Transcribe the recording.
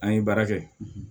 An ye baara kɛ